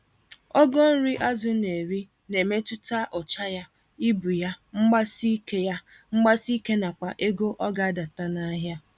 Ogo nri azụ n'eri, na-emetụta ụcha ya, ibu ya, mgbasike ya, mgbasike nakwa ego ọgadata nahịa